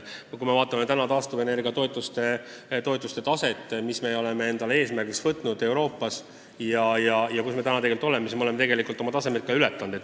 Kui me vaatame praegu taastuvenergia toetuste taset, mis me oleme endale Euroopas eesmärgiks võtnud, ja seda, kus me tegelikult oleme, siis näeme, et me oleme oma taseme ületanud.